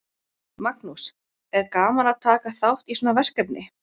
Magnús: Er gaman að taka þátt í svona verkefni?